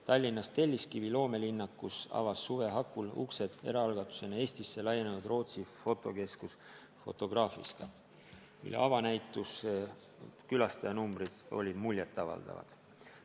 Tallinnas Telliskivi loomelinnakus avas suve hakul uksed eraalgatusena Eestisse laienenud Rootsi fotokeskus Fotografiska, mille avanäituse külastajanumbrid olid muljetavaldavad.